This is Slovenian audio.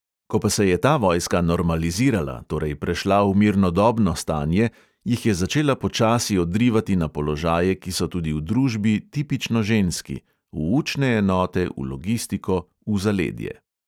Ko pa se je ta vojska normalizirala, torej prešla v mirnodobno stanje, jih je začela počasi odrivati na položaje, ki so tudi v družbi tipično ženski – v učne enote, v logistiko, v zaledje.